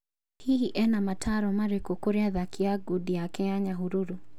Hihi ena mataaro marĩkũ kũrĩ athaki a ngudi take a Nyahururu?